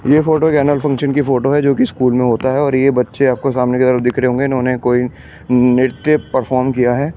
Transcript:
यह photo annual function की photo है जो कि स्कूल में होता है और यह बच्चे आपको सामने की तरफ दिख रहे होंगे इन्होंने कोई नृत्य परफॉर्म किया है इसमें।